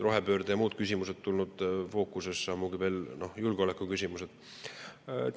Rohepöörde ja muud küsimused on tulnud fookusesse, ja loomulikult ka julgeoleku küsimused.